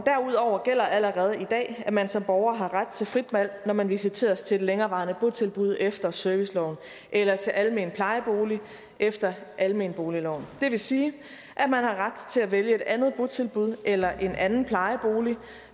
derudover gælder allerede i dag at man som borger har ret til frit valg når man visiteres til et længerevarende botilbud efter serviceloven eller til almen plejebolig efter almenboligloven det vil sige at man har ret til at vælge et andet botilbud eller en anden plejebolig